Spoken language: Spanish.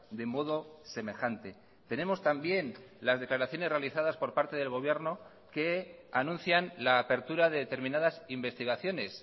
de modo semejante tenemos también las declaraciones realizadas por parte del gobierno que anuncian la apertura de determinadas investigaciones